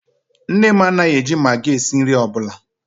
Nne m anaghị e ji Magi esi nri ọbụla